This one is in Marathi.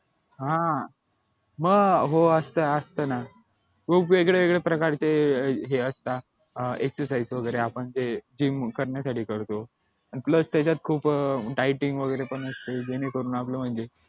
हा मग हो असत असत ना खूप वेगवेगळ्या प्रकारचे हे असतात अं exercise वगैरे आपण ते gym करण्यासाठी करतो plus त्याच्यात खूप dieting वगैरे असते ज्याने करून आपलं म्हणजे